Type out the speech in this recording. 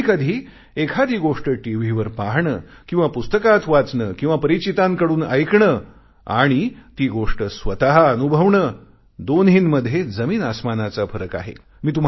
कधीकधी एखादी गोष्ट टीव्हीवर पाहणे किंवा पुस्तकात वाचणे किंवा परिचितांकडून ऐकणे आणि ती गोष्ट स्वतः अनुभवणे दोन्हींमध्ये जमीनआस्मानाचा फरक आहे